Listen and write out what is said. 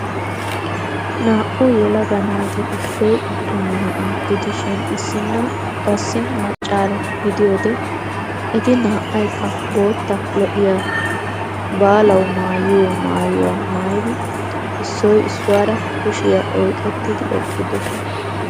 Naa"u yelaga naati issoy attuma na'aa gidishin issina qassi maccaaro gidiyoode eti na"aykka bootta lo"iyaa baalawu maayiyoo mayuwaa maayidi issoy issuwara kushshiyaa oyqqettidi eqqidososna.